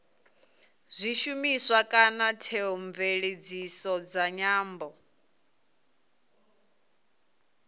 zwishumiswa kana theomveledziso dza nyambo